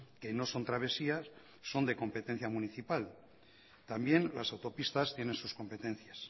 que no son travesías son de competencia municipal también las autopistas tienen sus competencias